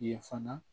Ye fana